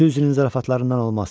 Süzi zarafatlarından olmaz.